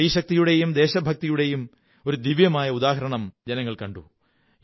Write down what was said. സ്ത്രീശക്തിയുടെയും ദേശഭക്തിയുടെയും ഒരു ദിവ്യമായ ഉദാഹണം ജനങ്ങൾ കണ്ടു